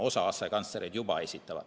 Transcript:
Osa asekantslereid ju juba esitab.